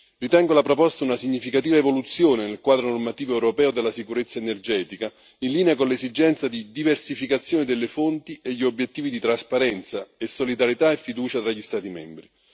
Ritengo la proposta una significativa evoluzione nel quadro normativo europeo della sicurezza energetica, in linea con l'esigenza di diversificazione delle fonti e gli obiettivi di trasparenza, solidarietà e fiducia tra gli Stati membri.